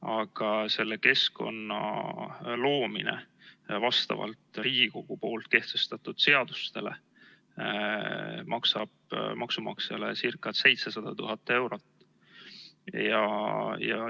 Aga selle keskkonna loomine vastavalt Riigikogu kehtestatud seadustele maksab maksumaksjale ca 700 000 eurot.